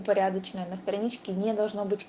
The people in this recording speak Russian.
порядочная на страничке не должно быть